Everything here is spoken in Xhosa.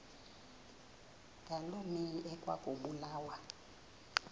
ngaloo mihla ekwakubulawa